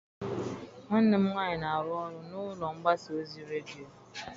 Nwanne m nwaanyị na-arụ ọrụ n'ụlọ mgbasa ozi redio.